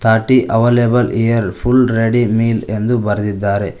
ಅಟ್ಟಿ available here full ready meal ಎಂದು ಬರೆದಿದ್ದಾರೆ.